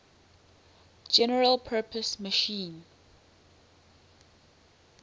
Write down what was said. general purpose machine